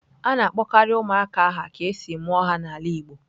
A na-akpọkarị ụmụaka aha ka e si mụọ ha n'ala Igbo.